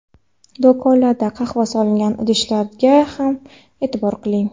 Do‘konlarda qahva solingan idishlarga ham e’tibor qiling.